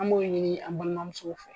An b'o ɲini an balimamuso fɛ.